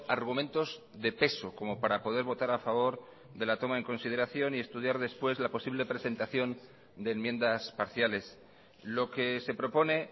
argumentos de peso como para poder votar a favor de la toma en consideración y estudiar después la posible presentación de enmiendas parciales lo que se propone